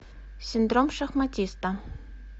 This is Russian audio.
синдром шахматиста